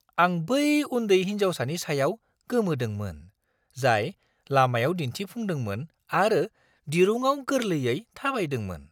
आं बै उन्दै हिन्जावसानि सायाव गोमोदोंमोन, जाय लामायाव दिन्थिफुंदोंमोन आरो दिरुङाव गोरलैयै थाबायदोंमोन!